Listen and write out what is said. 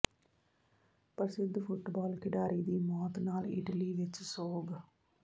ਪ੍ਰਸਿੱਧ ਫੁੱਟਬਾਲ ਖਿਡਾਰੀ ਦੀ ਮੌਤ ਨਾਲ ਇਟਲੀ ਵਿੱਚ ਸੋਗ